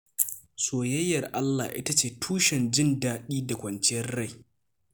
Soyayyar Allah ita ce tushen jin daɗi da kwanciyar rai.